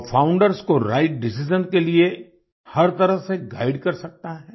वह फाउंडर्स को right decision के लिए हर तरह से गाइड कर सकता है